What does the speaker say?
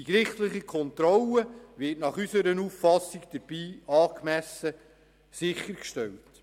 Die gerichtliche Kontrolle wird unseres Erachtens dabei angemessen sichergestellt.